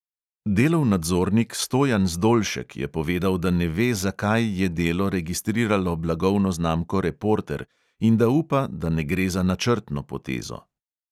Delov nadzornik stojan zdolšek je povedal, da ne ve, zakaj je delo registriralo blagovno znamko reporter, in da upa, da ne gre za načrtno potezo.